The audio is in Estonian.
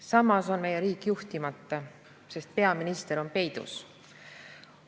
Samas on meie riik juhtimata, sest peaminister on peidus.